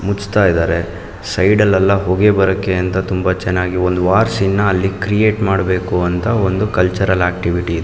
ಮುಚ್ಚಾತ್ತಾ ಇದ್ದಾರೆ ಸೈಡ್ ಎಲ್ಲಾ ಹೋಗೆ ಬರಕ್ಕೆ ಅಂತ ತುಂಬಾ ಚನ್ನಾಗಿ ಒಂದು ವಾರ್ ಸೀನ ಅಲ್ಲಿ ಕ್ರಿಯೇಟ್ ಮಾಡಬೇಕು ಅಂತ ಒಂದು ಕಲ್ಚರಲ್ ಆಕ್ಟಿವಿಟಿ ಇದು.